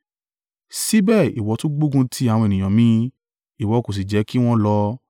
Síbẹ̀ ìwọ tún gbógun ti àwọn ènìyàn mi, ìwọ kò sì jẹ́ kí wọn lọ.